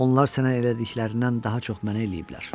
Onlar sənə elədiklərindən daha çox mənə eləyiblər.